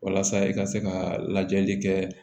Walasa i ka se ka lajɛli kɛ